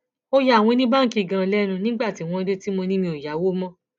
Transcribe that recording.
ó ya àwọn oníbáǹkì ganan lẹnu nígbà tí wọn dé tí mo ní mi ò yáwó mọ